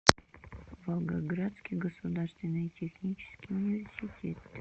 волгоградский государственный технический университет